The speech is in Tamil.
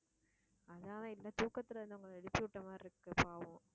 அதனால இந்த தூக்கத்துல இருந்து உங்களை எழுப்பி விட்ட மாதிரி இருக்கு பாவம்